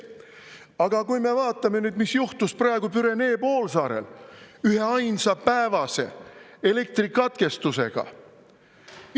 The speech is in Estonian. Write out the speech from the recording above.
Aga kui me vaatame nüüd, mis juhtus praegu Pürenee poolsaarel üheainsa päevase elektrikatkestusega.